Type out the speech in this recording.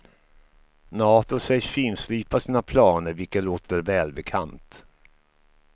Nato sägs finslipa sina planer, vilket låter välbekant.